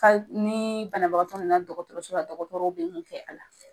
Hali ni banabagatɔ nana dɔgɔtɔrɔso la dɔgɔtɔrɔw be mun kɛ a la